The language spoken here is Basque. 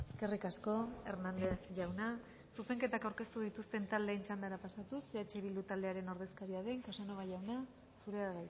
eskerrik asko hernández jauna zuzenketak aurkeztu dituzten taldeen txandara pasatuz eh bildu taldearen ordezkaria den casanova jauna zurea